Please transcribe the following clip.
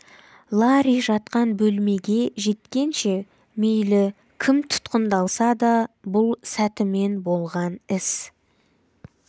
ларри жатқан бөлмеге жеткенше мейлі кім тұтқындалса да бұл сәтімен болған іс